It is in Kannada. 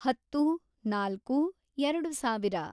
ಹತ್ತು, ನಾಲ್ಕು, ಎರೆಡು ಸಾವಿರ